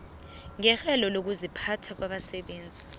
ngerhelo lokuziphatha labasebenzi